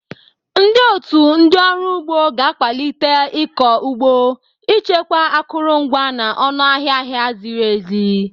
Ndị otu ndị ọrụ ugbo ga-akwalite ịkọ ugbo, ichekwa akụrụngwa, na ọnụ ahịa ahịa ziri ezi.